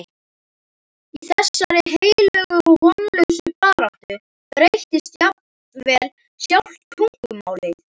Í þessari heilögu og vonlausu baráttu breytist jafnvel sjálft tungumálið.